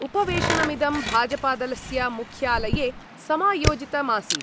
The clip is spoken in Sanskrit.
उपवेशनमिदं भाजपादलस्य मुख्यालये समायोजितमासीत्।